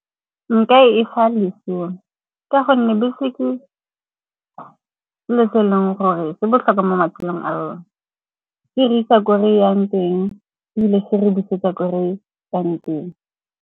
Nka e fa lesome, ka gonne bese ke selo se e leng gore se botlhokwa mo matshelong a rona. E re isa ko reyang teng ebile e re busetsa ko re tswang teng.